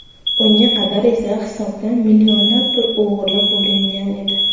Unga qadar esa hisobdan millionlab pul o‘g‘irlab bo‘lingan edi.